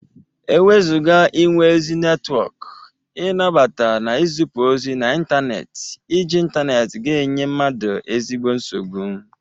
Ewezụga inwe ezi netwọk, ị nabata na ịzịpụ ozi n'intaneeti, iji intaneti ga-enye mmadu ezigbo nsogbụ.